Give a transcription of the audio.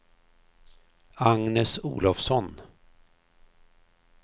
Agnes Olovsson